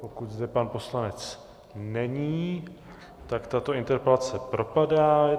Pokud zde pan poslanec není, tak tato interpelace propadá.